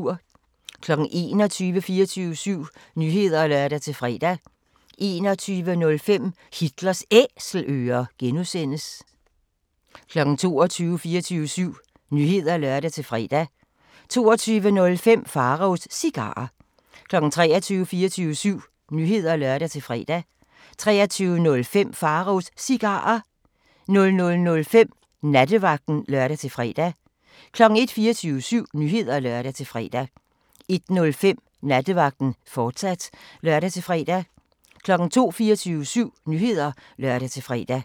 21:00: 24syv Nyheder (lør-fre) 21:05: Hitlers Æselører (G) 22:00: 24syv Nyheder (lør-fre) 22:05: Pharaos Cigarer 23:00: 24syv Nyheder (lør-fre) 23:05: Pharaos Cigarer 00:05: Nattevagten (lør-fre) 01:00: 24syv Nyheder (lør-fre) 01:05: Nattevagten, fortsat (lør-fre) 02:00: 24syv Nyheder (lør-fre)